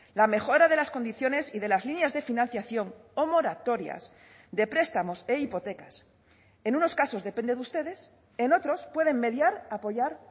la mejora de las condiciones y de las líneas de financiación o moratorias de prestamos e hipotecas en unos casos depende de ustedes en otros pueden mediar apoyar